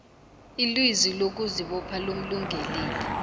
ilizwi lokuzibopha lomlungeleli